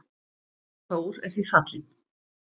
Þór er því fallinn.